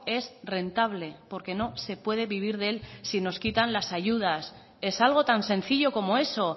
es rentable porque no se puede vivir de él si nos quitan las ayudas es algo tan sencillo como eso